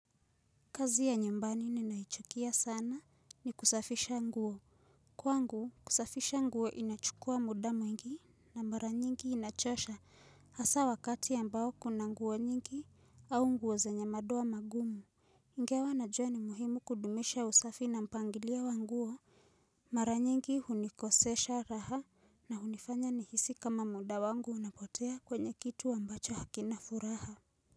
Kazi ya nyambani ninaichukia sana ni kusafisha nguo. Kwangu, kusafisha nguo inachukua muda mwingi na mara nyingi inachosha. Hasa wakati ambao kuna nguo nyingi au nguo zenye madoa magumu. Ingawa najua ni muhimu kudumisha usafi na mpangilio wa nguo. Mara nyingi hunikosesha raha na hunifanya nihisi kama muda wangu unapotea kwenye kitu ambacho hakina furaha.